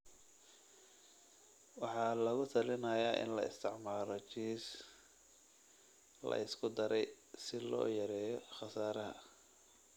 Waxaa lagu talinayaa in la isticmaalo goose la isku daray si loo yareeyo khasaaraha.